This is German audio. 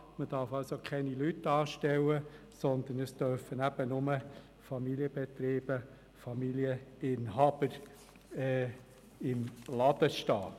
Es dürfen keine Angestellte sein, sondern es dürfen nur der Familienbetriebsinhaber und Familienangehörige sein.